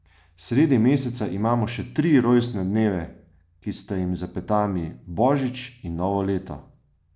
Sredi meseca imamo še tri rojstne dneve, ki sta jim za petami božič in novo leto!